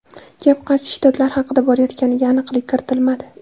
Gap qaysi shtatlar haqida borayotganiga aniqlik kiritilmadi.